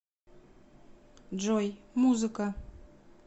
джой музыка